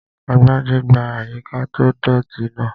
Agbájé gbá àyíká tó dọ̀ọ̀tì náà